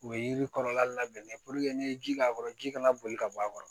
U ye yiri kɔlɔlɔ labɛn n'i ye ji k'a kɔrɔ ji kana boli ka bɔ a kɔrɔ